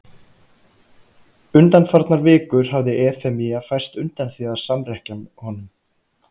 Undanfarnar vikur hafði Efemía færst undan því að samrekkja honum.